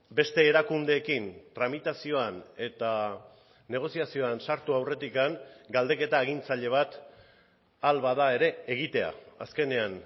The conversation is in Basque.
beste erakundeekin tramitazioan eta negoziazioan sartu aurretik galdeketa agintzaile bat ahal bada ere egitea azkenean